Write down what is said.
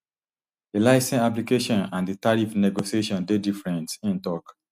di licence application and di tariff negotiations dey different im tok